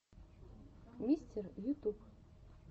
мистер ютуб